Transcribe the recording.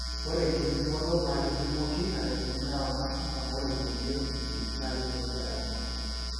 ore enkipimoto na kitingoki enaikununo ewangan amu ore kulie dye na keningu ewangan.